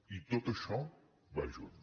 i tot això va junt